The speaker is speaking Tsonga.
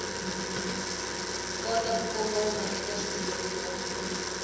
kota ku kongoma eka xitshuriwa